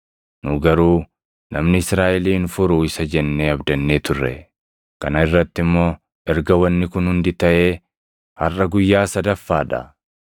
Nu garuu namni Israaʼelin furu isa jennee abdannee turre. Kana irratti immoo erga wanni kun hundi taʼee harʼa guyyaa sadaffaa dha.